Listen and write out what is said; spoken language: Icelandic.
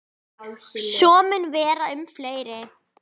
Svo mun vera um fleiri.